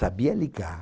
Sabia ligar.